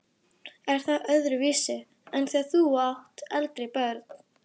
Er það öðruvísi en þegar þú áttir eldri börnin?